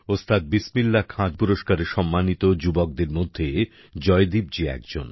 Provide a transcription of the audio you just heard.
ওস্তাদ বিসমিল্লাহ খান পুরস্কারে সম্মানিত যুবকদের মধ্যে জয়দীপ জি একজন